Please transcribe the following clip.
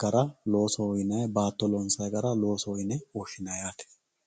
gara loosoho yinayi baato loonsayi gara loosoho yine woshinayi yaate